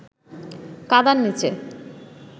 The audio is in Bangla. কাদার নিচে